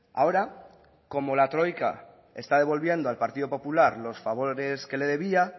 ahora como la troika está devolviendo al partido popular los favores que le debía